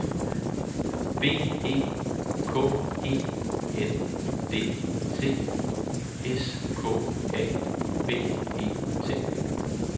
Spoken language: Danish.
B E K E N D T S K A B E T